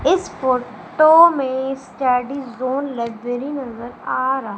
इस फोटो में study zone library नजर आ रहा--